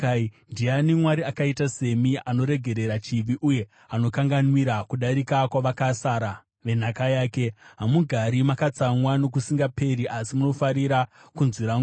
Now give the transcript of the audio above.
Ndiani Mwari akaita semi, anoregerera chivi uye anokanganwira kudarika kwavakasara venhaka yake? Hamugari makatsamwa nokusingaperi, asi munofarira kunzwira ngoni.